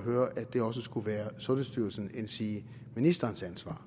høre at det også skulle være sundhedsstyrelsens endsige ministerens ansvar